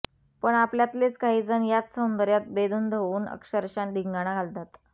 पण आपल्यातलेच काहीजण याच सौंदर्यात बेधुंद होऊन अक्षरशः धिंगाणा घालतात